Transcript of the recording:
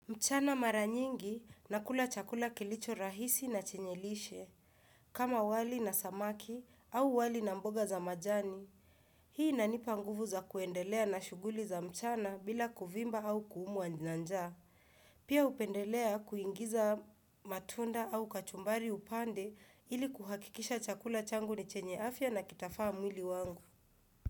Mchana maranyingi nakula chakula kilicho rahisi na chenye lishe, kama wali na samaki au wali na mboga za majani. Hii inanipa nguvu za kuendelea na shughuli za mchana bila kuvimba au kuumwa na njaa. Pia hupendelea kuingiza matunda au kachumbari upande ili kuhakikisha chakula changu ni chenye afya na kitafaa mwili wangu.